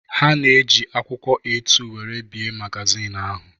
Ha ji akwụkwọ A2 wéré bie magazin ahu